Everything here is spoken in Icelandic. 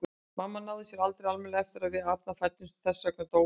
Mamma náði sér aldrei almennilega eftir að við Arnar fæddumst og þess vegna dó hún.